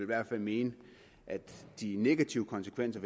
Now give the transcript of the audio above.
hvert fald mene at de negative konsekvenser